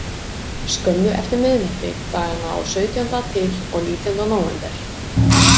Skömmu eftir miðnætti dagana og sautjánda til og nítjánda nóvember.